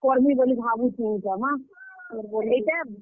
କର୍ ମି ବଲି ଭାବୁଛେଁ ଇଟା ମା! ଫେର୍ ବଢେଇ ଦେଇଛନ୍ ଯେ, ।